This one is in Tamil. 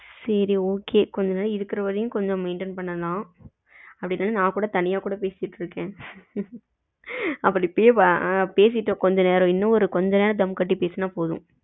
சரி okay கொஞ்ச இருக்குற வரைக்கும் கொஞ்ச maintain பண்ணலாம் அப்படி இல்லனா நா கூட தனியா கூட பேசிகிட்டு இருக்கேன் இப்படியே கொஞ்ச நேரம் பேசிட்டா இன்னும் கொஞ்ச நேரம் தம் கட்டி பேசுனா போதும்.